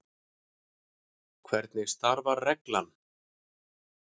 Hvernig starfar reglan?